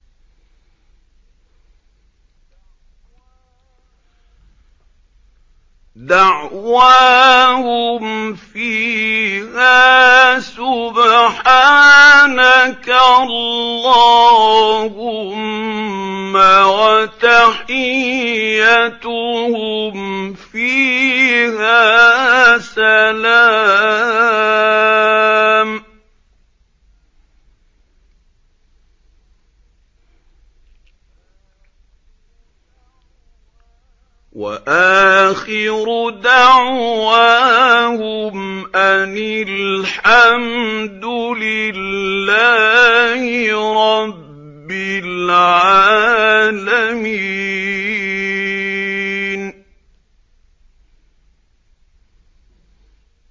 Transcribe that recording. دَعْوَاهُمْ فِيهَا سُبْحَانَكَ اللَّهُمَّ وَتَحِيَّتُهُمْ فِيهَا سَلَامٌ ۚ وَآخِرُ دَعْوَاهُمْ أَنِ الْحَمْدُ لِلَّهِ رَبِّ الْعَالَمِينَ